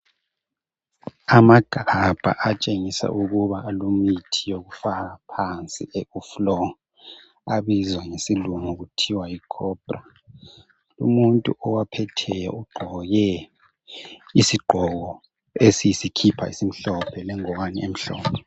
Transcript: Amagabha atshengisa ukuba alemithi yokufaka phansi ku floor abizwa ngesilungu kuthiwa yi cobra. Umuntu owaphetheyo ugqoke isigqoko esiyisikipa esimhlophe lengwane emhlophe.